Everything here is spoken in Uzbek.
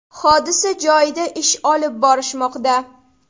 Hodisa joyida ish olib borishmoqda.